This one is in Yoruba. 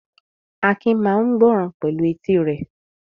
Akin máa ń gbọ́ràn pẹ̀lú etí rẹ̀.